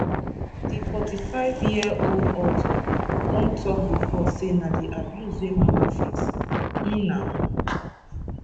di 45 year old author don tok bifor say na di abuse wey mama face um na